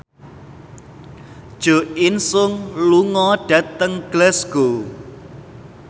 Jo In Sung lunga dhateng Glasgow